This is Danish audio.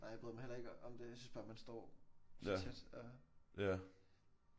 Nej jeg bryder mig heller ikke om det. Jeg synes bare man står så tæt og